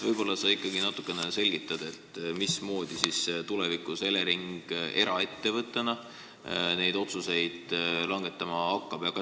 Võib-olla sa ikkagi natukene selgitad, mismoodi siis Elering eraettevõttena tulevikus neid otsuseid langetama hakkab?